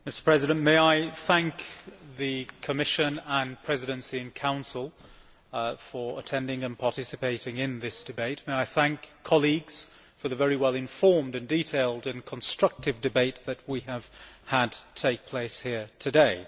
Mr President, may I thank the Commission, the Presidency and the Council for attending and participating in this debate, and may I thank colleagues for the very well informed, detailed and constructive debate that we have had here today.